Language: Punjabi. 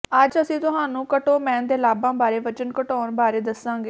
ਅੱਜ ਅਸੀਂ ਤੁਹਾਨੂੰ ਕਟੋਮੈਨ ਦੇ ਲਾਭਾਂ ਬਾਰੇ ਵਜ਼ਨ ਘਟਾਉਣ ਬਾਰੇ ਦੱਸਾਂਗੇ